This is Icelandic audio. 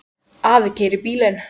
Afi keyrir bílinn.